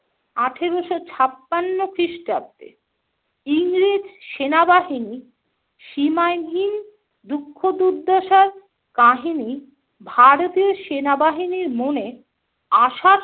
আঠেরোশো ছাপান্ন খ্রিস্টাব্দে ইংরেজ সেনাবাহিনী সীমাহীন দুঃখ দুর্দশার কাহিনী ভারতীয় সেনাবাহিনীর মনে আশার